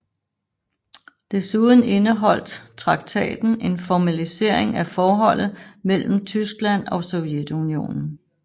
Desuden indeholdt traktaten en formalisering af forholdet mellem Tyskland og Sovjetunionen